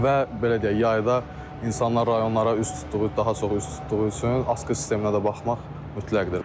Və belə deyək, yayda insanlar rayonlara üz tutduğu, daha çox üz tutduğu üçün asqı sisteminə də baxmaq mütləqdir.